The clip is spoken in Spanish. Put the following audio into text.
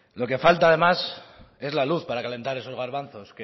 lo que falta además es la luz para calentar esos garbanzos